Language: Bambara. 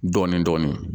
Dɔɔnin dɔɔnin